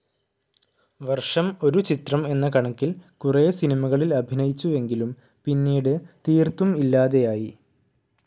വർഷം ഒരു ചിത്രം എന്ന കണക്കിൽ കുറേ സിനിമകളിൽ അഭിനയിച്ചുവെങ്കിലും പിന്നീട് തീർത്തും ഇല്ലാതെയായി.